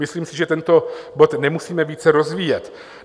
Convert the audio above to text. Myslím si, že tento bod nemusíme více rozvíjet.